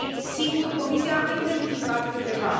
Sigur, Comisia a identificat câteva.